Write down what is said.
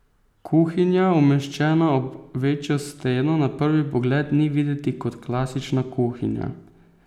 Kuhinja, umeščena ob večjo steno, na prvi pogled ni videti kot klasična kuhinja.